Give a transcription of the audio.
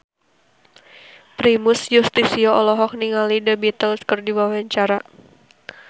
Primus Yustisio olohok ningali The Beatles keur diwawancara